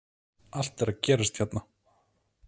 Allt er að gerast hérna!!